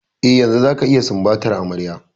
Eh, yanzu zaka iya sumbatar amarya.